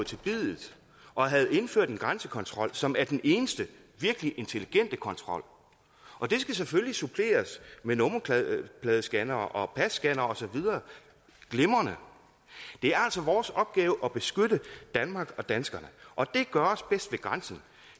til biddet og havde indført en grænsekontrol som er den eneste virkelig intelligente kontrol og det skal selvfølgelig suppleres med nummerpladescannere og passcannere og så videre glimrende det er altså vores opgave at beskytte danmark og danskerne og det gøres bedst ved grænsen